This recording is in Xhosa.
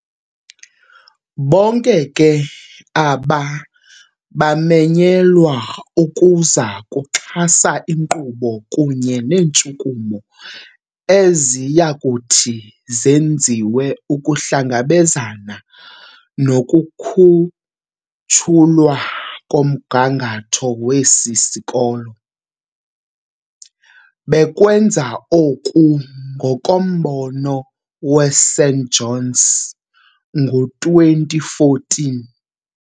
Bonke ke aba bamenyelwa ukuza kuxhasa inkqubo kunye neentshukumo eziyakuthi zenziwe ukuhlangabezana nokukhutshulwa komgangatho wesi sikolo, bekwenza oku ngokombono weSt Johns ngo2014.